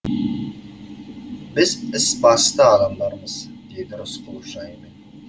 біз іс басты адамдармыз деді рысқұлов жайымен